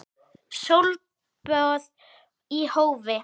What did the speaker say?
Sólböð í hófi.